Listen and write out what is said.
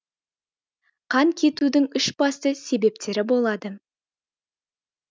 қан кетудің үш басты себептері болады